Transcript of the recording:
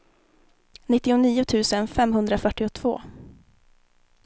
nittionio tusen femhundrafyrtiotvå